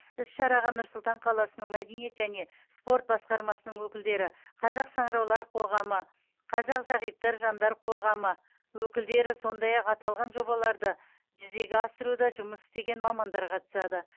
іс шараға нұр сұлтан қаласының мәдениет және спорт басқармасының өкілдері қазақ саңыраулар қоғамы қазақ зағиптар жандар қоғамы өкілдері сондай ақ аталған жобаларды жүзеге асыруда жұмыс істеген мамандар қатысады